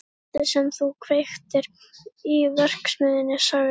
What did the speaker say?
Kvöldið sem þú kveiktir í verksmiðjunni sagði